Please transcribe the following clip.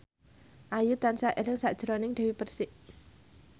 Ayu tansah eling sakjroning Dewi Persik